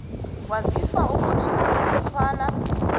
waziswa ukuthi ngokomthetjhwana